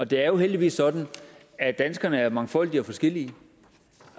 det er jo heldigvis sådan at danskerne er mangfoldige og forskellige